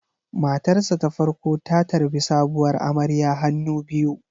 Matarsa ​​ta farko ta tarbi sabuwar amarya hannu biyu.